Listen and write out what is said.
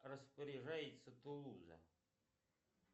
распоряжается тулуза